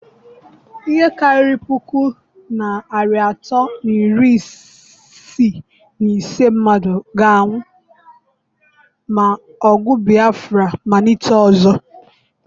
Ihe karịrị puku na narị atọ na iri isii na ise mmadụ ga-anwụ ma ọgụ Biafra malite ọzọ.